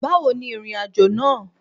Báwo ni ìrìnàjò náà?